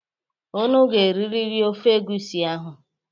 Unu ga-eriri ofe egusi ahụ.